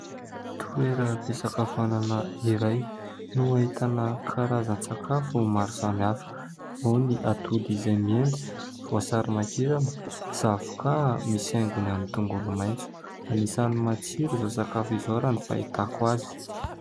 Toeram-pisakafoanana iray no ahitana karazan-tsakafo maro samy hafa no ny atody izay mendy, voasary makirana, zavoka, misy aingony amin'ny tongolo maitso anisany matsiro izao sakafo izao raha ny fahitako azy.